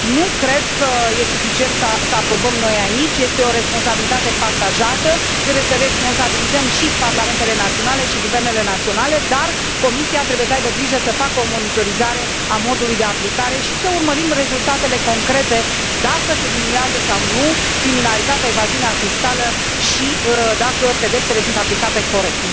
Nu cred că e suficient să aprobăm noi, aici, este o responsabilitate partajată, trebuie să responsabilizăm și parlamentele naționale și guvernele naționale, dar Comisia trebuie să aibă grijă să facă o monitorizare a modului de aplicare și să urmărim rezultatele concrete, dacă se diminuează sau nu criminalitatea, evaziunea fiscală și dacă pedepsele sunt aplicate corect.